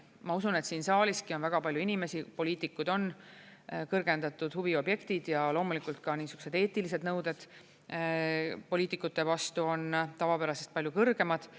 Ma usun, et siin saaliski on väga palju inimesi, poliitikud on kõrgendatud huvi objektid, ja loomulikult ka niisugused eetilised nõuded poliitikute vastu on tavapärasest palju kõrgemad.